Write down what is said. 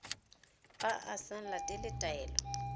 fa a sa latele taelo